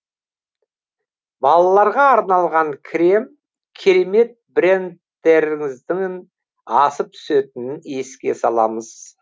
балаларға арналған крем керемет брендтеріңіздің асып түсетінін еске саламын